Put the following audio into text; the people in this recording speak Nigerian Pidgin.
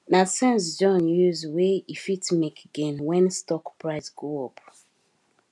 na sense john use wey e fit make gain when stock price go up